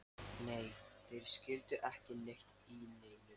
Nei, þeir skildu ekki neitt í neinu.